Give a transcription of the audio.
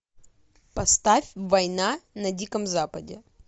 поставь война на диком западе